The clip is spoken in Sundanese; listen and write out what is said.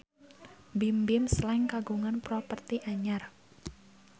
Bimbim Slank kagungan properti anyar